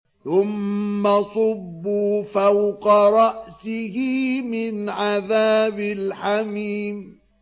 ثُمَّ صُبُّوا فَوْقَ رَأْسِهِ مِنْ عَذَابِ الْحَمِيمِ